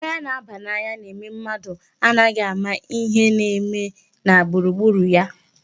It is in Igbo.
Mmanya na-aba n'anya na-eme mmadụ anaghị ama ihe na-eme na gburugburu ya.